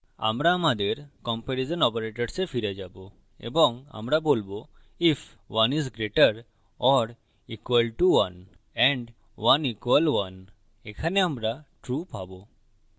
আমরা আমাদের comparison operatorswe ফিরে যাবো এবং আমরা বলবো if 1 is greater or equal to 1 and 1 equal 1 if ১ ১ we থেকে বড় বা সমান হয় and ১ ১ we সমান হয় এখানে আমরা true পাবো